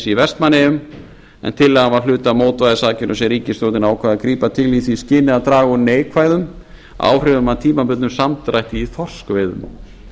í vestmannaeyjum en tillagan var hluti af mótvægisaðgerðum sem ríkisstjórnin ákvað að grípa til í því skyni að draga úr neikvæðum áhrifum á tímabundnum samdrætti í þorskveiðum